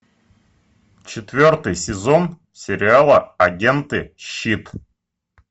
четвертый сезон сериала агенты щит